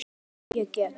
Ef ég get.